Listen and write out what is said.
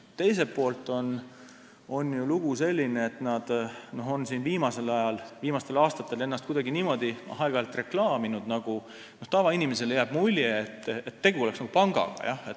Teiselt poolt on lugu selline, et nad on viimasel ajal, viimastel aastatel ennast aeg-ajalt kuidagi niimoodi reklaaminud, et tavainimesele jääb mulje, nagu oleks tegu pangaga.